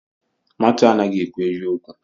Matiu anaghị ekwu eziokwu.